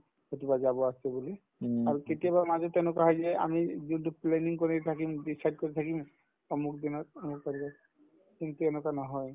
ক'ৰবাত যাব আছে বুলি আৰু কেতিয়াবা মাজত কেনেকুৱা হয় যে আমি যোনতো planning কৰি থাকিম decide কৰি থাকিম অমুক দিনাৰ অমুক তাৰিখে কিন্তু তেনেকুৱা নহয়